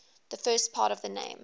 the first part of the name